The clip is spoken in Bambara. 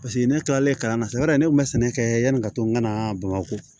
Paseke ne kilalen kalan na sisan yɔrɔ de kun bɛ sɛnɛ kɛ yani ka to n ka na bamakɔ